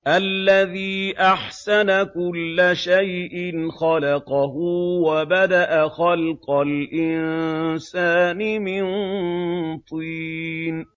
الَّذِي أَحْسَنَ كُلَّ شَيْءٍ خَلَقَهُ ۖ وَبَدَأَ خَلْقَ الْإِنسَانِ مِن طِينٍ